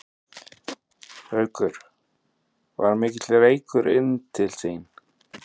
Haukur: Var mikill reykur inn til þín?